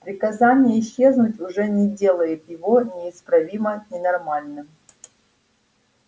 приказание исчезнуть уже не делает его неисправимо ненормальным